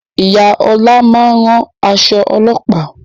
Ìyá ọlá máa ń rán aṣọ ọlọ́pàá